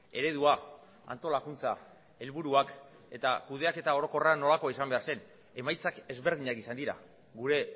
eredua antolakuntza helburuak eta kudeaketa orokorra nolakoa izan behar zen emaitzak ezberdinak izan dira gure